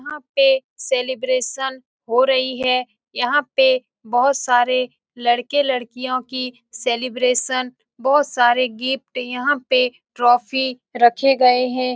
यहाँ पे सेलिब्रेशन हो रही है । यहाँ पे बोहोत सारे लड़के लड़कियों की सेलिब्रेशन बोहोत सारे गिफ्ट यहाँ पे ट्रोफी रखे गए हैं ।